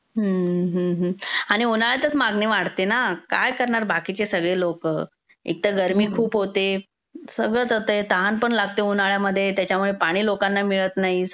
आणि उन्हाळ्यातच मागणी वाढते ना. काय करणार बाकीचे सगळे लोक? एकतर गर्मी खूप होते. सगळच होतंय, तहान पण लागते उन्हाळ्यामध्ये, त्याच्यामुळे पाणी लोकांना मिळत नाही.